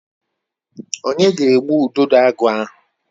Onye ga-egbu Udidoagu ahụ?